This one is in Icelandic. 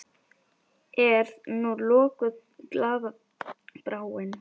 Er nú lokuð glaða bráin?